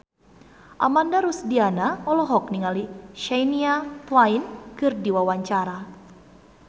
Ananda Rusdiana olohok ningali Shania Twain keur diwawancara